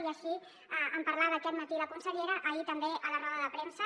i així en parlava aquest matí la consellera ahir també a la roda de premsa